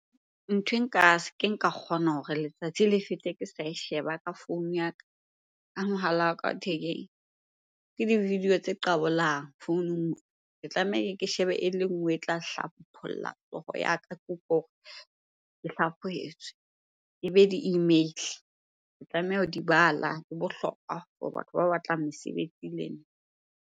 Nthwe nka ke nka kgona hore letsatsi le fete ke sa e sheba ka founu ya ka, ka mohala wa ka wa thekeng. Ke di-video tse qabolang founung. Ke tlameha ke shebe e le nngwe e tla hlapholla hlooho ya ka, ke utlwe hore ke hlaphohetswe. Ebe di-email-e, ke tlameha ho di bala, di bohlokwa for batho ba batlang mesebetsi le nna.